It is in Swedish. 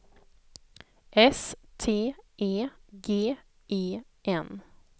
S T E G E N